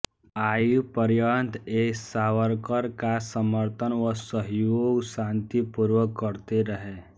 आयु पर्यन्त ये सावरकर का समर्तन व सहयोग शांतिपूर्वक करते रहे